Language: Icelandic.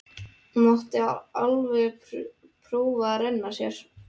Hún mátti alveg prófa að renna sér.